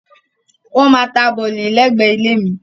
Wọ́n máa ta bọ̀lì lẹ́gbẹ̀ẹ́ ilé mi.